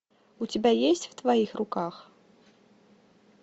у тебя есть в твоих руках